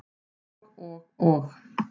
Og og og.